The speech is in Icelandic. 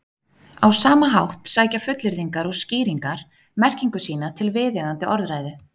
Á sama hátt sækja fullyrðingar og skýringar merkingu sína til viðeigandi orðræðu.